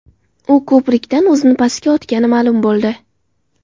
U ko‘prikdan o‘zini pastga otgani ma’lum bo‘ldi.